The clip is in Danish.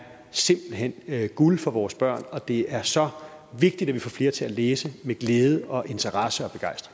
simpelt hen guld for vores børn og det er så vigtigt at vi får flere til at læse med glæde og interesse